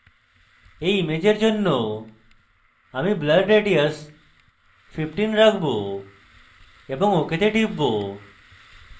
এই ইমেজের জন্য আমি blur radius 15 রাখব এবং ok তে টিপব